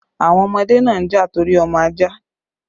The children fought over the puppy